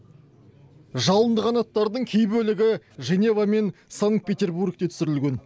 жалынды қанаттардың кей бөлігі женева мен санкт перебургте түсірілген